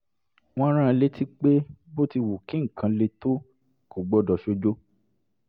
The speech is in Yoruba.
wọ́n rán an létí pé bó ti wù kí nǹkan le tó kò gbọdọ̀ ṣojo